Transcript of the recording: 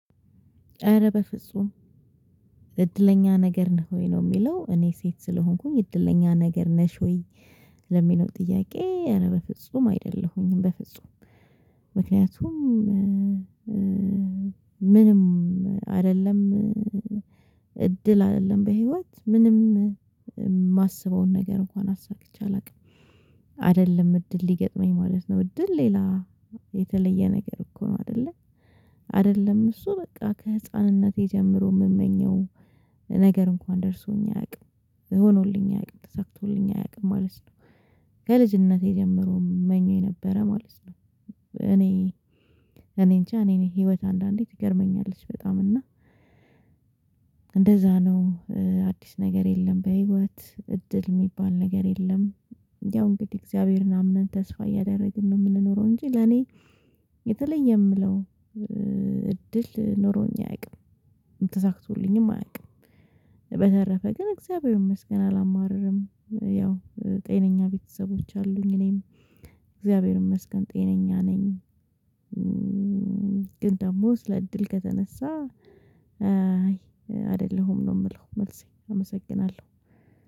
ኧረ በፍጹም እድለኛ ነገር ነህ ወይ ነው የሚለው እኔ ሴት ስለሆንኩኝ እድለኛ ነገር ነሽ ወይ ለሚለው ጥያቄ ኧረ በፍጹም አይደለሁኝም በፍጹም ምክንያቱም ምንም አይደለም እድል አይደለም በህይወት ምንም የማስበውን ነገር እንኳን አሳክቼ አላውቅም አይደለም እድል ሊገጥመኝ ማለት ነው እድል ሌላ የተለየ ነገር እኮ ነው አይደለ አይደለም እሱ በቃ ከህፃንነቴ ጀምሮ የምመኘው ነገር እንኳን ደርሶኝ አያውቅም፣ ሆኖልኝ አያውቅም፣ ተሳክቶልኝ አያውቅም ማለት ነው። ከልጅነቴ ጀምሮ ምመኘው የነበረ ማለት ነው እኔ እኔንጃ እኔን ህይወት አንዳንዴ ትገርመኛለች በጣም እና እንደዛ ነው አዲስ ነገር የለም በህይወት እድል የሚባል ነገር የለም፣ ያው እንግዲህ እግዚአብሔርን አምነን ተስፋ እያደረግን ነው የምንኖረው እንጂ ለኔ የተለየ የምለው እድል ኖሮኝ አያውቅም፣ ተሳክቶልኝም አያውቅም፣ በተረፈ ግን እግዚአብሔር ይመስገን አላማረረም ያው ጤነኛ ቤተሰቦች አሉኝ እኔም እግዚአብሔር ይመስገን ጤነኛ ነኝ ግን ደግሞ ስለ እድል ከተነሳ አይ አይደለሁም ነው የምለው መልሴ አመሰግናለሁ።